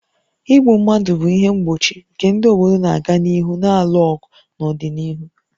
Igbu mmadụ bụ ihe mgbochi nke ndị obodo na-aga n'ihu na-alụ ọgụ n'ọdịnihu